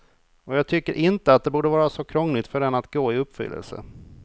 Och jag tycker inte att det borde vara så krångligt för den att gå i uppfyllelse.